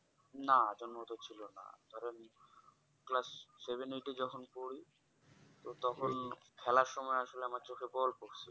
না জন্মগত ছিলনা ধরেন Class seven eight এ যখন পড়ি তো তখন খেলার সময় আসলে আমার চোখে বল পড়ছে